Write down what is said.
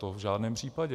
To v žádném případě.